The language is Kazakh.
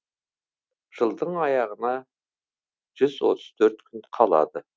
жылдың аяғына жүз отыз төрт күн қалады